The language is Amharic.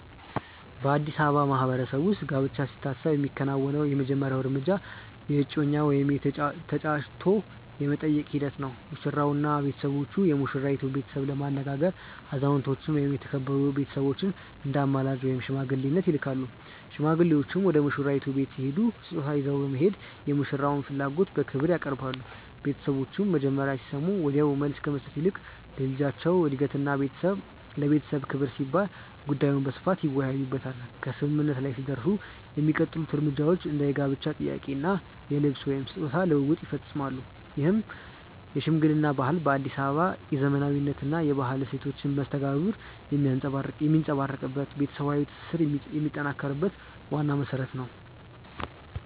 በአዲስ አበባ ማህበረሰብ ውስጥ ጋብቻ ሲታሰብ የሚከናወነው የመጀመሪያው እርምጃ የእጮኝነት ወይም የ"ተጫጭቶ የመጠየቅ" ሂደት ነው። ሙሽራውና ቤተሰቦቹ የሙሽራይቱን ቤተሰብ ለማነጋገር አዛውንቶችን ወይም የተከበሩ ቤተሰቦችን እንደ አማላጅ (ሽማግሌ) ይልካሉ። ሽማግሌዎቹ ወደ ሙሽራይቱ ቤት ሲሄዱ ስጦታ ይዘው በመሄድ የሙሽራውን ፍላጎት በክብር ያቀርባሉ። ቤተሰቦቹም መጀመሪያ ሲሰሙ ወዲያውኑ መልስ ከመስጠት ይልቅ ለልጃቸው እድገትና ለቤተሰብ ክብር ሲባል ጉዳዩን በስፋት ይወያዩበታል። ከስምምነት ላይ ሲደረስ የሚቀጥሉት እርምጃዎች እንደ የጋብቻ ጥያቄ እና የልብስ/ስጦታ ልውውጥ ይፈጸማሉ። ይህ የሽምግልና ባህል በአዲስ አበባ የዘመናዊነትና የባህላዊ እሴቶች መስተጋብር የሚንጸባረቅበት፣ ቤተሰባዊ ትስስርን የሚያጠናክር ዋና መሰረት ነው።